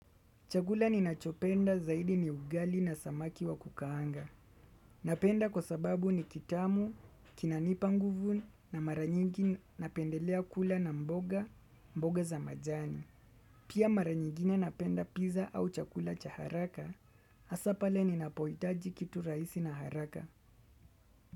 Chakula ninachopenda zaidi ni ugali na samaki wa kukaanga. Napenda kwa sababu ni kitamu, kinanipa nguvu na mara nyingi napendelea kula na mboga, mboga za majani. Pia mara nyingine napenda pizza au chakula cha haraka, hasa pale ninapoitaji kitu rahisi na haraka.